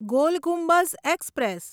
goal Gumbaz express